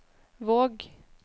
Våg